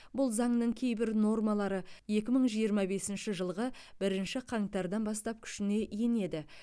бұл заңның кейбір нормалары екі мың жиырма бесінші жылғы бірінші қаңтардан бастап күшіне енеді